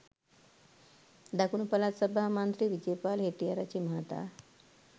දකුණුපළාත් සභා මන්ත්‍රී විජේපාල හෙට්ටිආරච්චි මහතා